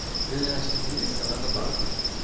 ты наверное сейчас удивишься но это так